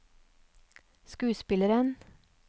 skuespilleren